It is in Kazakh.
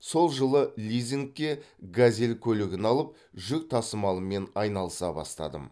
сол жылы лизингке газель көлігін алып жүк тасымалымен айналыса бастадым